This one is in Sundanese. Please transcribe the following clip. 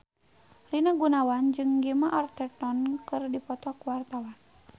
Rina Gunawan jeung Gemma Arterton keur dipoto ku wartawan